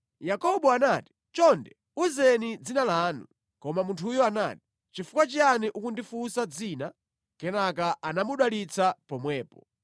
Yakobo anati, “Chonde, uzeni dzina lanu.” Koma munthuyo anati, “Chifukwa chiyani ukundifunsa dzina?” Kenaka anamudalitsa pomwepo.